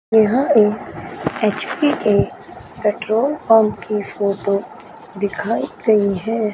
यहां एक एच_पी के पेट्रोल पंप की फोटो दिखाई गयीं है।